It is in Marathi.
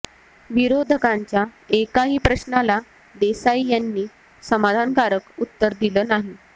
विरोधकांच्या एकाही प्रश्नाला देसाई यांनी समाधानकारक उत्तर दिले नाही